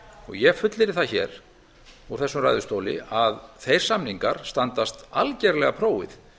ég fullyrði hér úr þessum ræðustóli að þeir samningar standast algerlega prófið